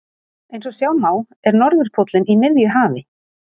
Eins og sjá má er norðurpóllinn í miðju hafi.